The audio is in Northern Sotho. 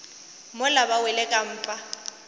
mola ba wele ka mpa